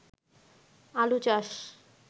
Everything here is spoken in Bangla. আলু চাষ